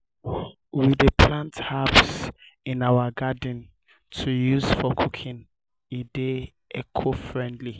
we dey plant herbs in our garden to use for cooking e dey eco-friendly.